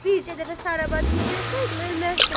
Bircə dəfə Sara bacımı görsəydim, ölməzdim.